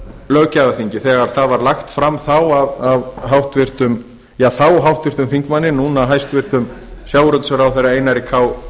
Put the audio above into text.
löggjafarþingi þegar það var lagt fram þá af þáverandi háttvirtum þingmanni núverandi hæstvirtan sjávarútvegsráðherra einari k